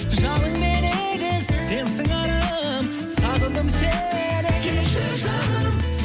жалынмен егіз сен сыңарым сағындым сені келші жаным